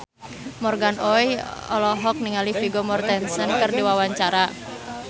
Morgan Oey olohok ningali Vigo Mortensen keur diwawancara